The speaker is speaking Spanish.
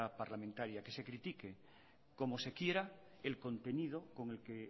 parlamentaria que se critique como se quiera el contenido con el que